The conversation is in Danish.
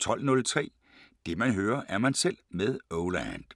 12:03: Det man hører, er man selv med Oh Land